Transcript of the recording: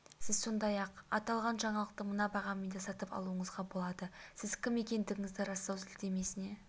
сіз сондай-ақ аталған жаңалықты мына бағамен де сатып алуыңызға болады сіз кім екендігіңізді растау сілтемесіне